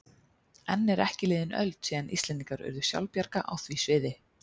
Enn er ekki liðin öld síðan Íslendingar urðu sjálfbjarga á því sviði.